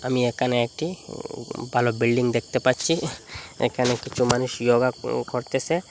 আমি এখানে একটি উম ভালো বিল্ডিং দেখতে পাচ্ছি এখানে কিছু মানুষ য়োগা করতেসে।